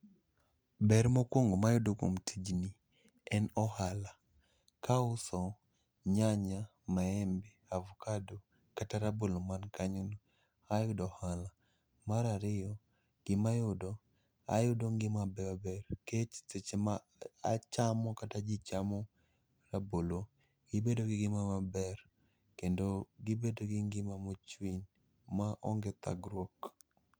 Ber mokwongo mayudo kuom tijni, en ohala. Kauso nyanya, maembe, avkado, kata rabolo man kanyono, ayudo ohala. Marariyo, gima ayudo, ayudo ngimabeyobeyo kech seche ma achamo kata ji chamo rabolo, ibedo gi ngima maber. Kendo gibedo gi ngima mochwiny maonge thagruok.